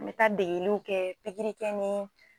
N be taa degeliw kɛ pigirikɛ ni